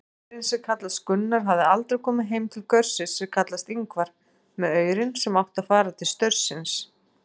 Gaurinn sem kallast Gunnar hafði aldrei komið heim til gaursins sem kallast Ingvar með aurinn sem átti að fara til staursins.